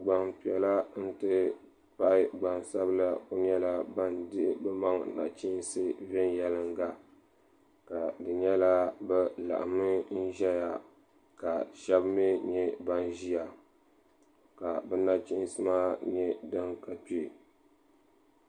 Gbampiɛla n ti pahi gbansabla nyɛla ban dihi nachinsi venyelinga ka di nyɛla bɛ laɣimi ʒɛya ka sheba mee ʒia ka bɛ nachinsi maa nyɛ di ka kpee.